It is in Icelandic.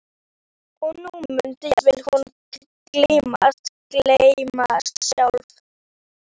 Og nú mundi jafnvel hún gleymast, gleymskan sjálf.